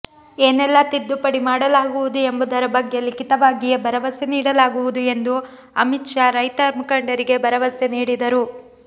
ಏನೆಲ್ಲಾ ತಿದ್ದುಪಡಿ ಮಾಡಲಾಗುವುದು ಎಂಬುದರ ಬಗ್ಗೆ ಲಿಖಿತವಾಗಿಯೇ ಭರವಸೆ ನೀಡಲಾಗುವುದು ಎಂದು ಅಮಿತ್ ಶಾ ರೈತ ಮುಖಂಡರಿಗೆ ಭರವಸೆ ನೀಡಿದರು